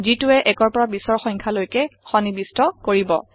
যিটোয়ে ১ৰ পৰা ২০ৰ সংখ্যা লৈকে সন্নিবিষ্ট কৰিব